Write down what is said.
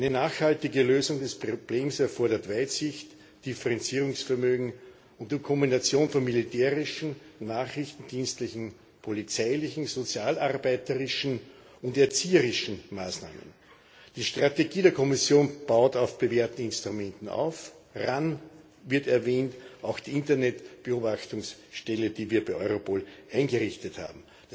Eine nachhaltige Lösung des Problems erfordert Weitsicht, Differenzierungsvermögen und Kombination von militärischen, nachrichtendienstlichen, polizeilichen, sozialarbeiterischen und erzieherischen Maßnahmen. Die Strategie der Kommission baut auf bewährten Instrumenten auf, RAN wird erwähnt, auch die Internetbeobachtungsstelle, die wir bei Europol eingerichtet haben.